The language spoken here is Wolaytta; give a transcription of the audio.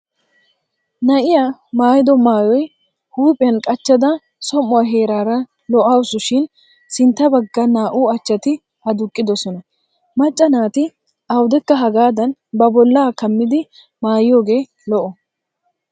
Na'iya maayido maayoy huuphphiyan qachchada som'uwaa heeraara lo'awusu shin sintta bagga naa'u achchati aduqqidosona. Macca naati awudekka hagaadan ba bollaa kammidi maayiyoogee lo'o.